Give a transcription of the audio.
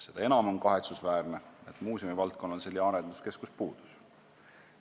Seda enam on kahetsusväärne, et muuseumivaldkonnal on seni arenduskeskus puudunud.